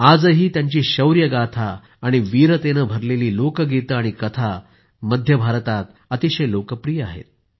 आजही त्यांची शौर्यगाथा आणि वीरतेने भरलेली लोकगीते आणि कथा मध्य भारतामध्ये अतिशय लोकप्रिय आहेत